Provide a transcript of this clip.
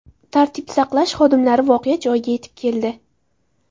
Tartib saqlash xodimlari voqea joyiga yetib keldi.